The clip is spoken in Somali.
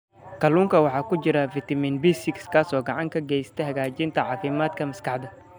Kalluunka waxaa ku jira fitamiin B6 kaas oo gacan ka geysta hagaajinta caafimaadka maskaxda.